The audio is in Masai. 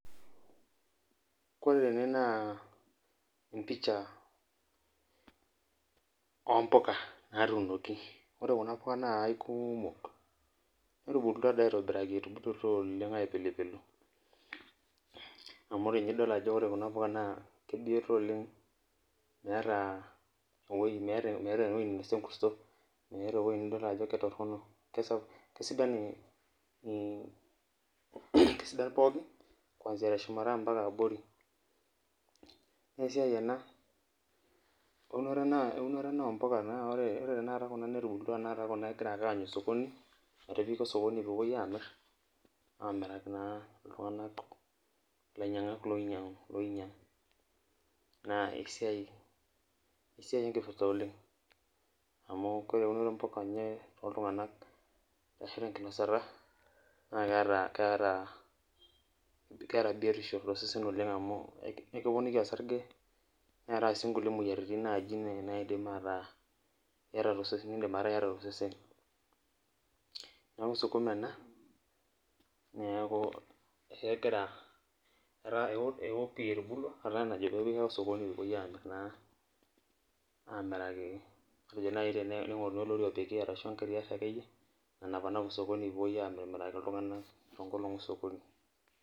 Ore tene na emoisha ompuka natuunoki orw kuna puka na kaikumok netubulutua aitobiraki na kaikulok amu ore nye idol kuna puka kebioto oleng meeta nye ewoi nainosie enkurto, meeta nye ewoi nidol ajo ketoronok kesidan pookin kwanzia teshumata mpaka abori na ore ena na eunoto ompuka netubulutwata kuna metipiki osokoni pepeuoi amir amiraki ltunganak lainyangak oinyangu na esiai enkipirta oleng amu ore eunoto ompuka ashi tenkinasata na keeta biotisho tosesen oleng amu ekiponiki osarge neetai si nkuti moyiaritin tosesen na indim ataa iyata tosesen neaku sukuma ena eo etubulua ata enajo pepiki osokoni pepuoi amir naa amiraki ningoruni olori ashu engari nanap osokoni pepeuoi amiraki ltunganak tonkolongi ososkoni.